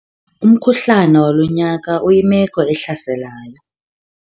Umkhuhlane walo nyaka uyimeko ehlaselayo.